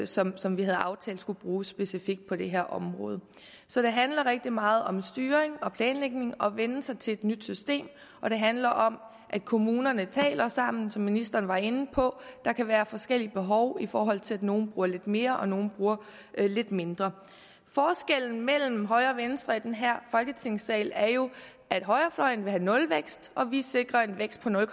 som som vi havde aftalt skulle bruges specifikt på det her område så det handler rigtig meget om styring og planlægning og om at vænne sig til et nyt system og det handler om at kommunerne taler sammen som ministeren var inde på der kan være forskellige behov i forhold til at nogle bruger lidt mere og nogle bruger lidt mindre forskellen mellem højre og venstre i den her folketingssal er jo at højrefløjen vil have nulvækst og vi sikrer en vækst på nul